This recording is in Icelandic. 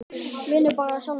Vinnur bara hjá sjálfum sér.